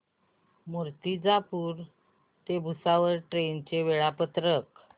मूर्तिजापूर ते भुसावळ ट्रेन चे वेळापत्रक